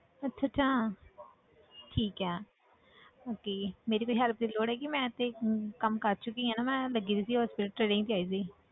ਅੱਛਾ ਅੱਛਾ ਠੀਕ ਹੈ okay ਮੇਰੀ ਕੋਈ help ਦੀ ਲੋੜ ਹੈਗੀ ਮੈਂ ਤੇ ਕੰਮ ਕਰ ਚੁੱਕੀ ਹਾਂ ਨਾ ਮੈਂ ਲੱਗੀ ਹੋਈ ਸੀ hospital